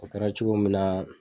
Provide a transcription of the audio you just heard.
A kɛra cogo min na.